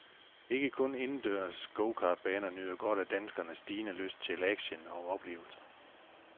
Ikke kun indendørs gokartbaner nyder godt af danskernes stigende lyst til action og oplevelser.